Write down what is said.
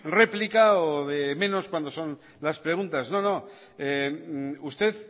réplica o de menos cuando son las preguntas no no usted